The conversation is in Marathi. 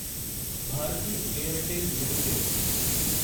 Bharti Airtel limited